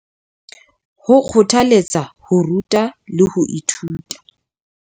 Ho kgothaletsa ho ruta le ho ithuta.